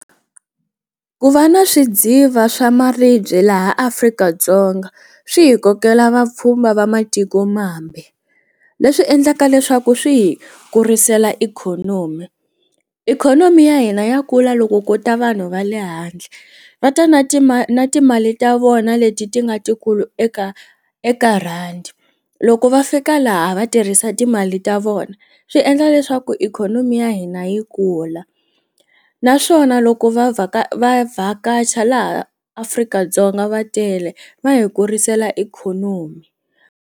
Ku va na swidziva swa maribye laha Afrika-Dzonga swi hi kokela vapfhumba va matikomambe leswi endlaka leswaku swi hi kurisela ikhonomi ikhonomi ya hina ya kula loko kuta vanhu va le handle va ta na na timali ta vona leti ti nga tikulu eka eka rhandi loko va fika laha va tirhisa timali ta vona swi endla leswaku ikhonomi ya hina yi kula naswona loko va vavhakachi laha Afrika-Dzonga va tele va hi kurisela ikhonomi.